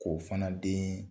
K'o fana den